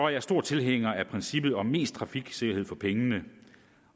jeg stor tilhænger af princippet om mest trafiksikkerhed for pengene